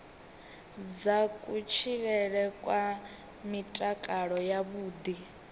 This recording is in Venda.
dza kutshilele kwa mutakalo wavhuḓi